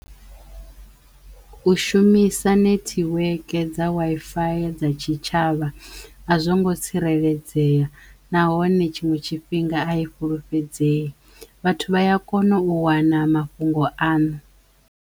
U shumisa nethiweke dza waifaya dza tshitshavha a zwo ngo tsireledzeya nahone tshiṅwe tshifhinga a i fhulufhedzei vhathu vha ya kono u wana mafhungo aṋu.